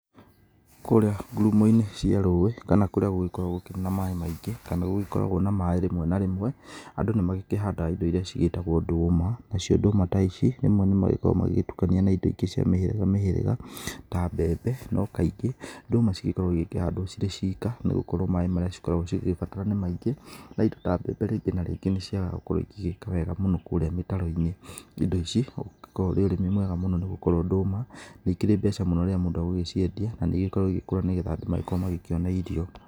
Kũrĩa ngurumo-inĩ cia rũũĩ, kana kũrĩa gũgĩkoragwo gũkĩrĩ na maĩĩ maĩngĩ kana gũgĩkoragwo na maĩĩ rĩmwe na rĩmwe, andũ nĩ magĩkĩhandaga indo iria ciigĩtagwo ndũũma nacio ndũũma ta ici rĩmwe nĩmagĩkoragwo magĩgĩtukania na indo ingĩ cia mĩhĩrĩga mĩhĩrĩga ta mbembe no kaingĩ ndũũma cigĩkoragwo cikihandwo cirĩ ciika nĩgũkorwo maĩĩ marĩa cikoragwo cigigibatara nĩ maingĩ na indo ta mbembe rĩngĩ na rĩngĩ nĩciagaga gũkorwo igĩĩka wega mũno kũrĩa mĩtaro-inĩ. Indo ici ũngĩkorwo ũrĩ ũrĩmi mwega mũno nĩgũkorwo ndũũma nĩikĩrĩ mbeca mũno rĩrĩa mũndũ egũgĩciendia na nĩigĩkoragwo igĩkũra nĩguo andũ makorwo magĩkĩona irio.